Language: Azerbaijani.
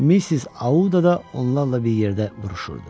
Missis Auda da onlarla bir yerdə vuruşurdu.